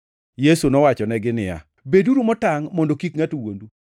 Yesu nowachonegi niya, “Beduru motangʼ mondo ngʼato kik wuondu.